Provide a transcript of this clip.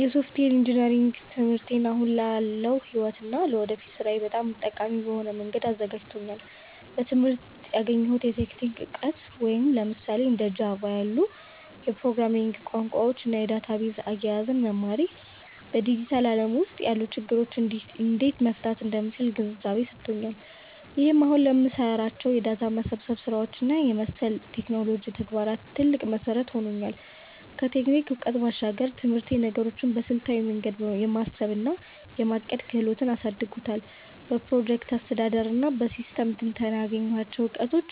የሶፍትዌር ኢንጂነሪንግ ትምህርቴ አሁን ላለው ሕይወቴ እና ለወደፊት ሥራዬ በጣም ጠቃሚ በሆነ መንገድ አዘጋጅቶኛል። በትምህርቴ ያገኘሁት የቴክኒክ እውቀት፣ ለምሳሌ እንደ ጃቫ (Java) ያሉ የፕሮግራሚንግ ቋንቋዎችን እና የዳታቤዝ አያያዝን መማሬ፣ በዲጂታሉ ዓለም ውስጥ ያሉ ችግሮችን እንዴት መፍታት እንደምችል ግንዛቤ ሰጥቶኛል። ይህም አሁን ለምሰራቸው የዳታ መሰብሰብ ስራዎች እና መሰል የቴክኖሎጂ ተግባራት ትልቅ መሠረት ሆኖኛል። ከቴክኒክ እውቀቱ ባሻገር፣ ትምህርቴ ነገሮችን በስልታዊ መንገድ የማሰብ እና የማቀድ ክህሎቴን አሳድጎታል። በፕሮጀክት አስተዳደር እና በሲስተም ትንተና ያገኘኋቸው እውቀቶች፣